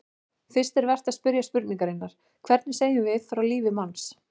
Fyrst er vert að spyrja spurningarinnar: hvernig segjum við frá lífi manns?